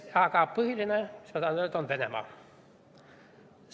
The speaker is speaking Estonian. Aga põhiline, mis ma tahan öelda, on Venemaa.